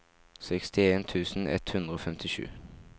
sekstien tusen ett hundre og femtisju